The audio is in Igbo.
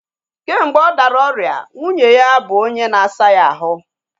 Kemgbe ọ dara ọrịa, nwunye ya bụ onye na-asa ya ahụ